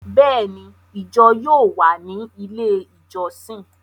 Béèni, ijọ yóò wà ni ilé ijọsin